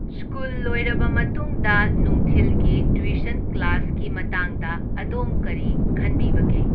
School ꯂꯣꯏꯔꯕ ꯃꯇꯨꯡꯗ ꯅꯨꯡꯊꯤꯜꯒꯤ ꯇꯨꯏꯁꯟ ꯀ꯭ꯂꯥꯁꯀꯤ ꯃꯇꯥꯡꯗ ꯑꯗꯣꯝ ꯀꯔꯤ ꯈꯟꯕꯤꯕꯒꯦ?